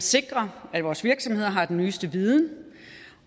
sikrer at vores virksomheder har den nyeste viden